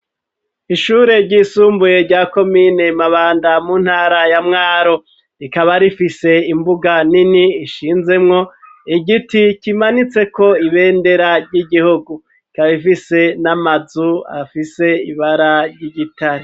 Ishure ryisumbuye rya komine mabanda muntara ya mwaro rikaba rifise imbuga nini ishinzemwo igiti kimanitse ko ibendera ry'igihugu kabifise n'amazu afise ibara ry'igitare.